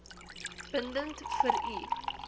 bindend vir u